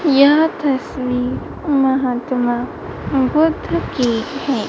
यह तस्वीर महात्मा बुद्ध की हैं।